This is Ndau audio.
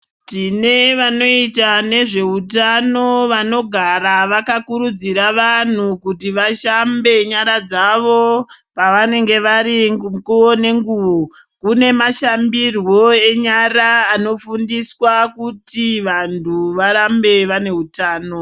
Tine vanoita nezveutano vanogara vakakurudzira vantu kuti vashambe nyara dzavo pavanenge vari mukuvo nenguvo. Kune mashambirwo enyara anofundiswa kuti vantu varambe vane hutano.